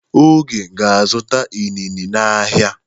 Oge ga-azụta inine n'ahịa.